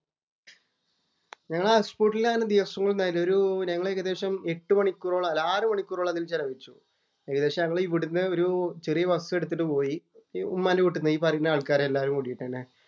ഞങ്ങള് അങ്ങനെ ഹൗസ് ബോട്ടില് അങ്ങനെ ദിവസങ്ങളൊന്നും ആയില്ല. ഒരു ഞങ്ങള്‍ ഏകദേശം എട്ടുമണിക്കൂറോളം അല്ല ആറു മണിക്കൂറോളം അതില്‍ ചെലവഴിച്ചു. ഏകദേശം ഞങ്ങള് ഇവിടുന്നു ഒരു ചെറിയ ബസ് എടുത്തിട്ടു പോയി. ഉമ്മാന്‍റെ വീട്ടീന്ന് ഈ പറയുന്ന ആള്‍ക്കാരെല്ലാരും കൂടീട്ടു തന്നെ.